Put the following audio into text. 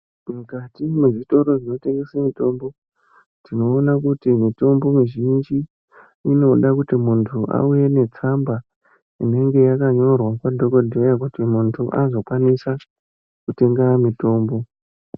Mukati mwezvitoro zvinotengese mitombo tinoona kuti mitombo mizhinji inoda kuti muntu awe netsamba inenge yakanyorwa kwadhokodheya kuti muntu azokwanisa kutenga mutombo.